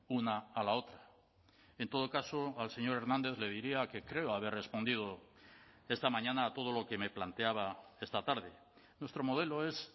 una a la otra en todo caso al señor hernández le diría que creo haber respondido esta mañana a todo lo que me planteaba esta tarde nuestro modelo es